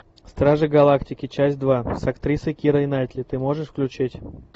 стражи галактики часть два с актрисой кирой найтли ты можешь включить